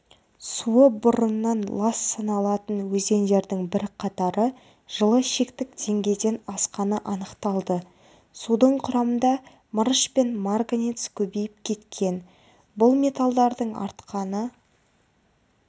суы бұрыннан лас саналатын өзендердің бірқатары жылы шектік деңгейден асқаны анықталды судың құрамында мырыш пен марганец көбейіп кеткен бұл металлдардың артқаны